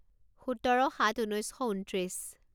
সোতৰ সাত ঊনৈছ শ ঊনত্ৰিছ